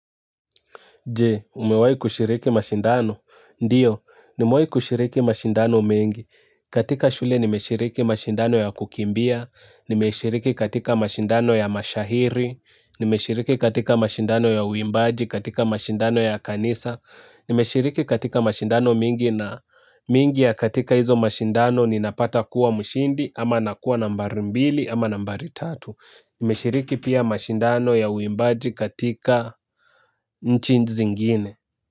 Jee, umewai kushiriki mashindano? Ndio nimewai kushiriki mashindano mengi. Katika shule nimeshiriki mashindano ya kukimbia, nimeshiriki katika mashindano ya mashahiri, nimeshiriki katika mashindano ya uimbaji, katika mashindano ya kanisa, nimeshiriki katika mashindano mingi na mingi ya katika hizo mashindano ninapata kuwa mshindi ama nakuwa nambari mbili ama nambari tatu. Nimeshiriki pia mashindano ya uimbaji katika nchi zingine.